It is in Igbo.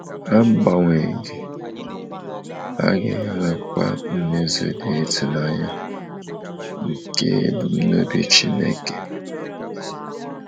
Agbanyeghị, a ga enwekwa mmezu dị ịtụnanya nke ebumnobi Chineke.